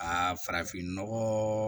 Aa farafinnɔgɔ